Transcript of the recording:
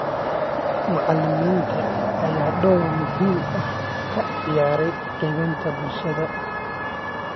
Macalimiinta ayaa door muhiim ah ka ciyaara qaabeynta bulshada.